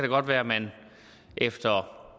godt være at man efter